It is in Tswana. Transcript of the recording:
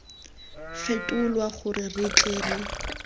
fetolwa gore re tle re